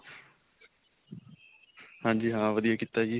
ਹਾਂਜੀ ਹਾਂ ਵਧੀਆ ਕੀਤਾ ਜੀ.